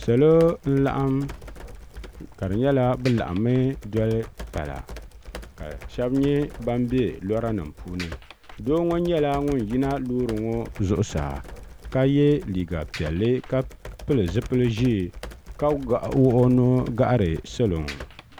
salo n laɣim ka nyɛla be laɣim mi doli pala ka shɛbi nyɛ ban bɛ lora nim puuni do ŋɔ nyɛla ŋɔ yina lori ŋɔ zuɣ saa ka yɛ liga piɛli ka pɛli zibiligu ʒiɛ ka wuɣ' o nuhi gahiri salo ŋɔ